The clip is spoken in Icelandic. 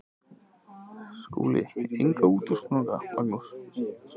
SKÚLI: Enga útúrsnúninga, Magnús.